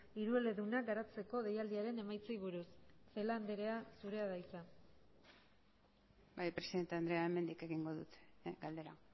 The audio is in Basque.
hirueledunak garatzeko deialdiaren emaitzei buruz celaá andrea zurea da hitza bai presidente andrea hemendik egingo dut galdera